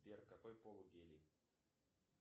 сбер какой пол у гелий